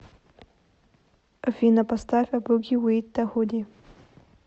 афина поставь э буги вит да худи